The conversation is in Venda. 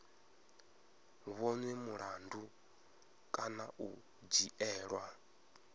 vhonwe mulandu kana u dzhielwa